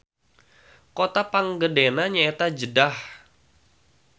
Kota panggedena nyaeta Jeddah.